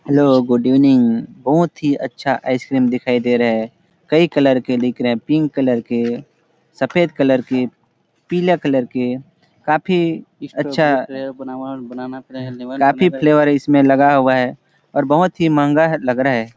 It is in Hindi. हेल्लो गुड इवनिंग बहुत ही अच्छा आइसक्रीम दिखाई दे रहे है कई कलर के दिख रहे है पिंक कलर के सफ़ेद कलर के पिला कलर के काफी अच्छा काफी फ्लेवर इसमें लगाया हुआ है और बहुत ही महंगा लग रहा हैं ।